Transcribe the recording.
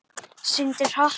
Syndir hratt.